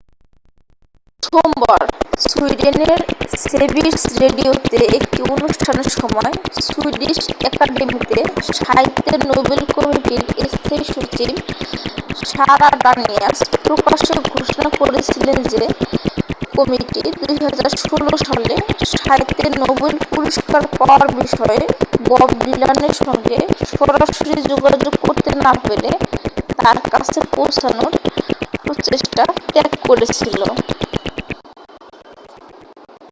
সোমবার সুইডেনের সেভিরস রেডিওতে একটি অনুষ্ঠানের সময় সুইডিশ অ্যাকাডেমিতে সাহিত্যের নোবেল কমিটির স্থায়ী সচিব সারা ডানিয়াস প্রকাশ্যে ঘোষণা করেছিলেন যে কমিটি 2016 সালে সাহিত্যে নোবেল পুরস্কার পাওয়ার বিষয়ে বব ডিলানের সঙ্গে সরাসরি যোগাযোগ করতে না পেরে তাঁর কাছে পৌঁছানোর প্রচেষ্টা ত্যাগ করেছিল